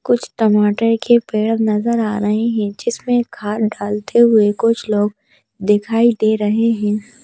कुछ टमाटर के पेड़ नजर आ रहे हैं जिसमें डालते हुए कुछ लोग दिखाई दे रहे हैं।